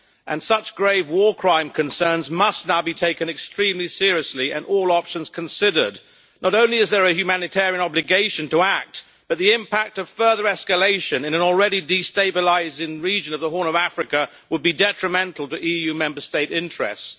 and such grave war crime concerns must now be taken extremely seriously and all options considered. Not only is there a humanitarian obligation to act but the impact of further escalation, in an already destabilising region of the Horn of Africa, would be detrimental to EU Member State interests.